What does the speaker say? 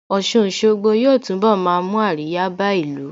Ọ̀sun Òṣogbo yóò túnbọ̀ máa mú àríyá bá ìlú